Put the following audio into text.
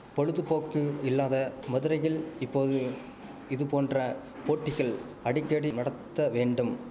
பொழுதுபோக்கு இல்லாத மதுரையில் இப்போது இதுபோன்ற போட்டிகள் அடிக்கடி நடத்த வேண்டும்